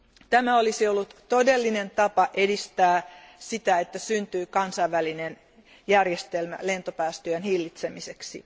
Tämä olisi ollut todellinen tapa edistää sitä, että syntyy kansainvälinen järjestelmä lentopäästöjen hillitsemiseksi.